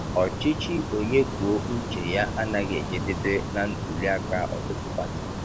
Ọchịchị onye kwuo uche ya anaghị ejedebe na ntuli aka ọtụtụ pati.